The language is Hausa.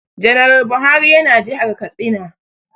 Janar Buhari ya na jihar Katsina